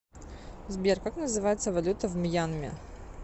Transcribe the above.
сбер как называется валюта в мьянме